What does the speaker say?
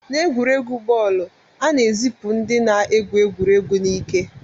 N'egwuregwu bọọlụ, a na-ezipụ ndị na-egwu egwuregwu n'ike